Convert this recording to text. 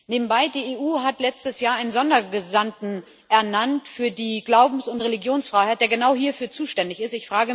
Nebenbei Die EU hat letztes Jahr einen Sondergesandten ernannt für die Glaubens und Religionsfreiheit, der genau hierfür zuständig ist.